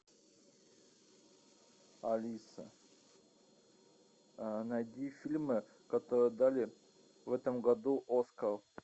алиса найди фильмы которым дали в этом году оскар